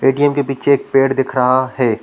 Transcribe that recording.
ATM के पीछे एक पेड़ दिख रहा हैं।